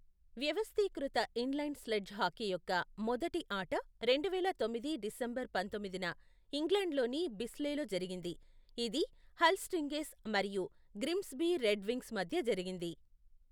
వ్యవస్థీకృత inline sledge hockey యొక్క మొదటి ఆట రెండువేల తొమ్మిది డిసెంబర్ పంతొమ్మిదిన ఇంగ్లండ్లోని బిస్లేలో జరిగింది, ఇది హల్ స్టింగ్రేస్ మరియు గ్రిమ్సబీ రెడ్ వింగ్స్ మధ్య జరిగింది.